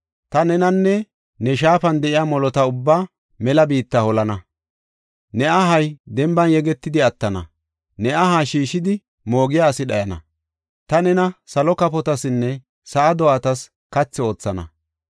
Ta nenanne ne shaafan de7iya molota ubbaa mela biitta holana; ne ahay denban yegetidi attana; ne aha shiishidi moogiya asi dhayana. Ta nena salo kafotasinne sa7aa do7atas kathi oothana.